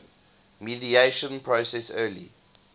mediation process early